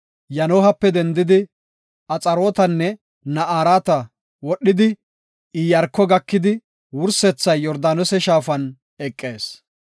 Yanohaape dendidi, Axarootenne Na7araate wodhidi, Iyaarko gakidi, wursethay Yordaanose shaafan eqees.